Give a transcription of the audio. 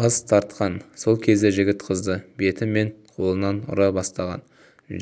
бас тартқан сол кезде жігіт қызды беті мен қолынан ұра бастаған